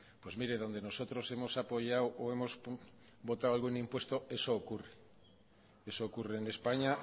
pues miren donde nosotros hemos apoyado o hemos votado algún impuesto eso ocurre eso ocurre en españa